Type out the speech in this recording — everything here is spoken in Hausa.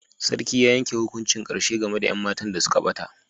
Sarkin ya yanke hukuncin karshe game da 'yan matan da suka bata.